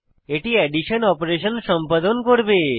এটি addition operation সম্পাদন করবে